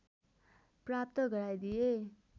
प्राप्त गराइदिए